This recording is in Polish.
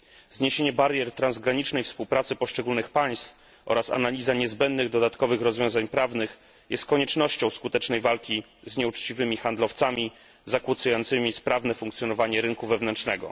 Zniesienie barier transgranicznej współpracy poszczególnych państw oraz analiza niezbędnych dodatkowych rozwiązań prawnych jest konieczna dla skutecznej walki z nieuczciwymi handlowcami, zakłócającymi sprawne funkcjonowanie rynku wewnętrznego.